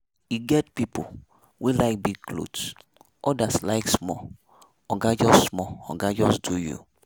E get pipo wey like big clothes, odas like small, oga just small, oga just do you.